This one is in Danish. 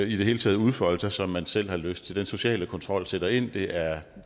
i det hele taget udfolde sig som man selv har lyst til den sociale kontrol sætter ind det er